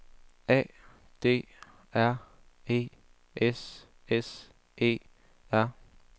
A D R E S S E R